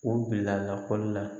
O bila lakɔli la